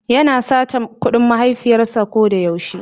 yana sace kudin mahaifiyars a kodayau she.